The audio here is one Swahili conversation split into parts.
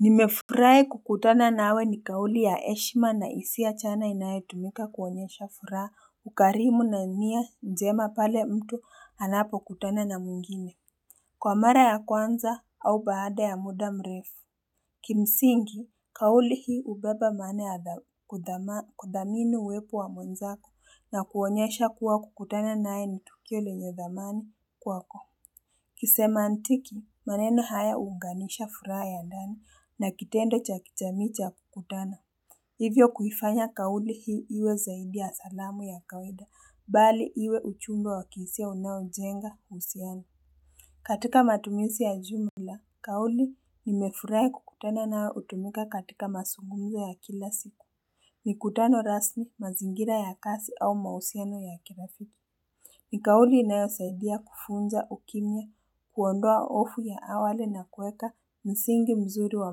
Nimefurahi kukutana nawe ni kauli ya heshima na hisia chana inayotumika kuonyesha furaha, ukarimu na nia njema pale mtu anapokutana na mwingine. Kwa mara ya kwanza au baada ya muda mrefu Kimsingi kauli hii hubeba maana ya kudhamini uwepo wa mwenzako na kuonyesha kuwa kukutana naye ni tukio lenye dhamani kwako kusema antiki, maneno haya huunganisha furaha ya ndani na kitendo cha kijaamii cha kukutana. Hivyo kuhifanya kauli hii iwe zaidi ya salamu ya kawaida bali iwe uchumbo wa kihisia unaojenga uhusiano. Katika matumizi ya jumla, kauli nimefurahi kukutana nawe hutumika katika mazungumzo ya kila siku. Mikutano rasmi, mazingira ya kazi au mauhusiano ya kirafiki. Ni kauli inayosaidia kufunza ukimya, kuondoa hofu ya awali na kueka msingi mzuri wa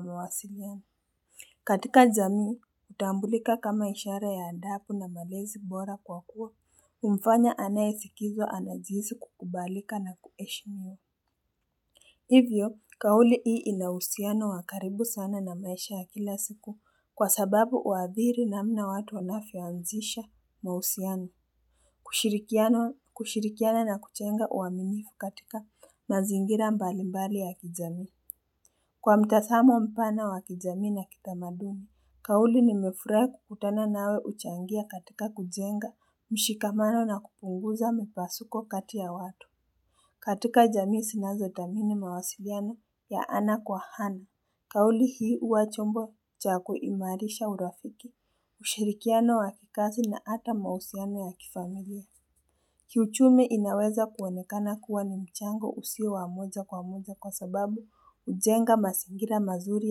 mawasiliano. Katika jamii, hutambulika kama ishara ya adabu na malezi bora kwa kuwa humfanya anayesikizwa anajihisi kukubalika na kuheshimiwa. Hivyo, kauli hii inauhusiano wa karibu sana na maisha ya kila siku kwa sababu huadhiri namna watu wanavyoanzisha mauhusiano. Kushirikiana na kujenga uaminifu katika mazingira mbalimbali ya kijamii Kwa mtazamo mpana wa kijamii na kitamadumi, kauli nimefurahi kukutana nawe huchangia katika kujenga mshikamano na kupunguza mpasuko kati ya watu katika jamii zinazo thamini mawasiliano ya ana kwa ana. Kauli hii huwa chombo cha kuimarisha urafiki Ushirikiana wa kikazi na hata mauhusiano ya kifamilia Kiuchumi inaweza kuonekana kuwa ni mchango usio wa moja kwa moja kwa sababu hujenga mazingira mazuri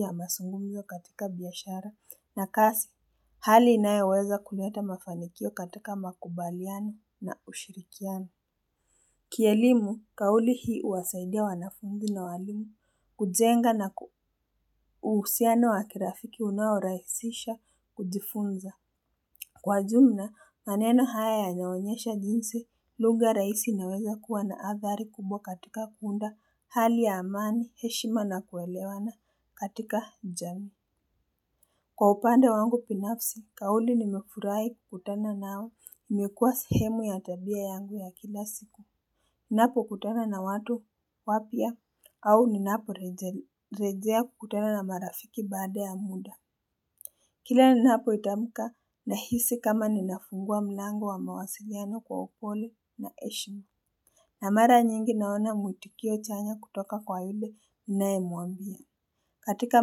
ya mazungumzo katika biashara na kazi, hali inayoweza kuleta mafanikio katika makubaliano na ushirikiano. Kielimu, kauli hii huwasaidia wanafunzi na walimu, kujenga na uhusiano wa kirafiki unaorahisisha kujifunza. Kwa jumla, maneno haya yanaonyesha jinsi, lugha rahisi inaweza kuwa na athari kubwa katika kuunda hali ya amani, heshima na kuelewana katika jamii. Kwa upande wangu binafsi, kauli nimefurahi kukutana nao, imekuwa sehemu ya tabia yangu ya kila siku. Ninapokutana na watu wapya au ninaporejea kukutana na marafiki baada ya muda. Kila ninapoitamka nahisi kama ninafungua mlango wa mawasiliano kwa upole na heshimu. Na mara nyingi naona mwitikio chanya kutoka kwa yule ninae mwambia. Katika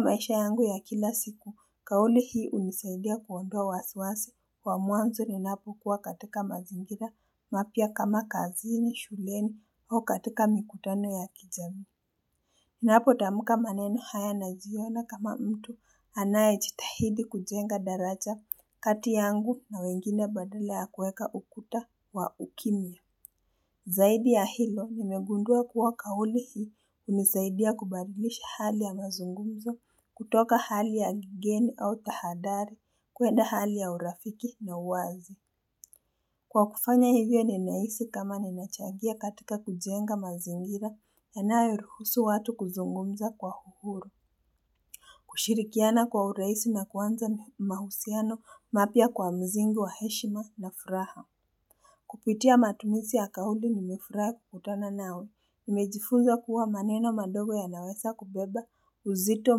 maisha yangu ya kila siku, kauli hii hunisaidia kuondoa wasiwasi kwa mwanzo ninapokuwa katika mazingira mapya kama kazini, shuleni au katika mikutano ya kijamii ninapotamka maneno haya najiona kama mtu anaye jitahidi kujenga daraja kati yangu na wengine badala ya kuweka ukuta wa ukimya Zaidi ya hilo, nimegundua kuwa kauli hii hunisaidia kubadlisha hali ya mazungumzo kutoka hali ya kigeni au tahadhari kwenda hali ya urafiki na uwazi Kwa kufanya hivyo ninahisi kama ninachangia katika kujenga mazingira yanayoruhusu watu kuzungumza kwa uhuru. Kushirikiana kwa urahisi na kuanza mahusiano mapya kwa msingi wa heshima na furaha. Kupitia matumizk ya kauli nimefurahi kukutana nawe. Nimejifunza kuwa maneno madogo yanaweza kubeba uzito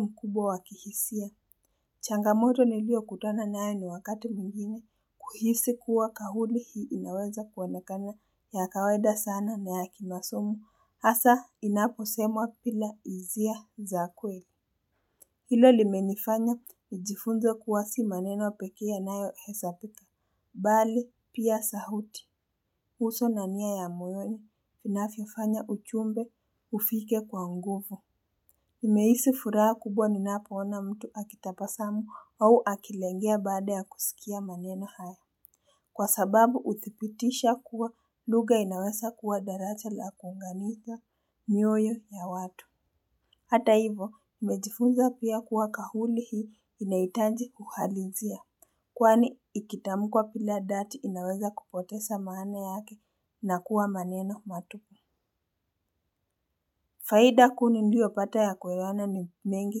mkubwa wa kihisia. Changamoto niliokutana nayo ni wakati mwigine kuhisi kuwa kauli hii inaweza kuonekana ya kawaida sana na ya kimasomo hasa inaposemwa bila hisia za kweli. Hilo limenifanya, nijifunze kuwa si maneno pekee yanayohesabika, mbali pia sauti, uso na nia ya moyoni, inavyofanya ujumbe hufike kwa nguvu. Nimehisi furaha kubwa ninapoona mtu akitabasamu au akilengea baada ya kusikia maneno haya. Kwa sababu uthibitisha kuwa lugha inaweza kuwa daraja la kuunganika mioyo ya watu. Hata hivo, nimejifunza pia kuwa kauli hii inahitaji uhalisia. Kwani ikitamkwa bila dhati inaweza kupoteza maana yake na kuwa maneno matupu. Faida kuu niliyopata ya kwa haya ni mengi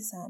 sana.